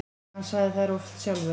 Hann sagði þær oft sjálfur.